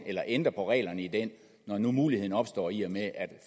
eller ændre på reglerne i den når nu muligheden opstår i og med at